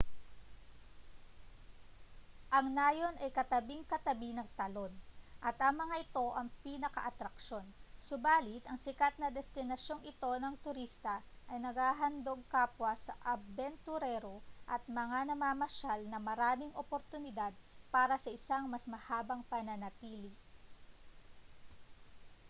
ang nayon ay katabing-katabi ng talon at ang mga ito ang pinakaatraksyon subalit ang sikat na destinasyong ito ng turista ay naghahandog kapwa sa abenturero at mga namamasyal ng maraming oportunidad para sa isang mas mahabang pananatili